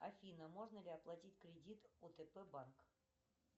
афина можно ли оплатить кредит отп банк